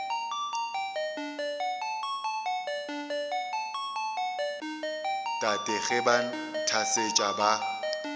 tate ge ba nthasetša ba